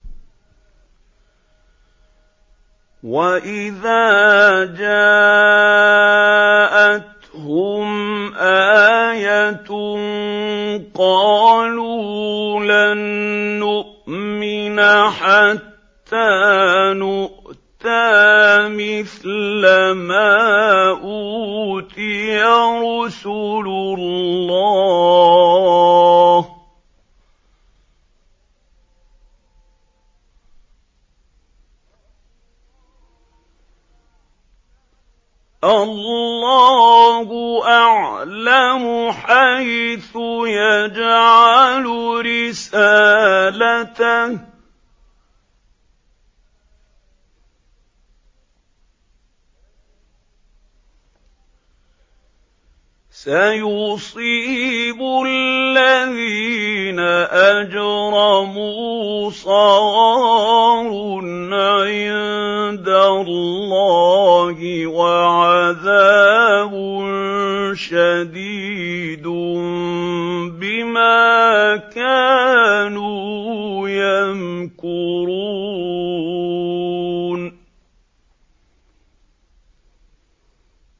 وَإِذَا جَاءَتْهُمْ آيَةٌ قَالُوا لَن نُّؤْمِنَ حَتَّىٰ نُؤْتَىٰ مِثْلَ مَا أُوتِيَ رُسُلُ اللَّهِ ۘ اللَّهُ أَعْلَمُ حَيْثُ يَجْعَلُ رِسَالَتَهُ ۗ سَيُصِيبُ الَّذِينَ أَجْرَمُوا صَغَارٌ عِندَ اللَّهِ وَعَذَابٌ شَدِيدٌ بِمَا كَانُوا يَمْكُرُونَ